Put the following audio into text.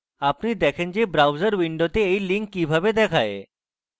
আপনি দেখেন যে browser window you link কিরকম দেখায়